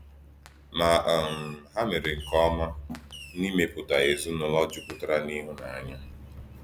Ma, um ha mere nke ọma n’ịmepụta ezinụlọ jupụtara n’ịhụnanya.